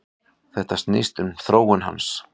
Þetta snýst um þróun hans.